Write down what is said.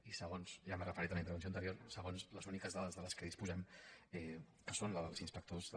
i se·gons i ja m’hi he referit en la intervenció anterior les úniques dades de què disposem que són les dels ins·pectors de